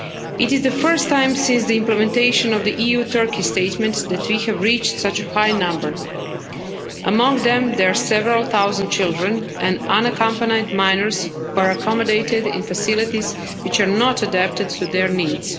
It is the first time since the implementation of the EU Turkey statement that we have reached such a high number. Among them, there are several thousand children and unaccompanied minors who were accommodated in facilities which are not adapted to their needs.